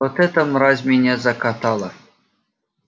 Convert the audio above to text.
вот эта мразь меня закатала